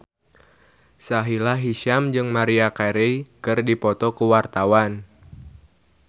Sahila Hisyam jeung Maria Carey keur dipoto ku wartawan